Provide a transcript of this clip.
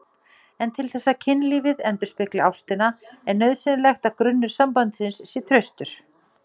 En til þess að kynlífið endurspegli ástina er nauðsynlegt að grunnur sambandsins sé traustur.